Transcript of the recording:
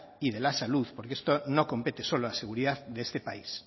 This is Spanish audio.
y de la salud porque esto no compete solo a seguridad de este país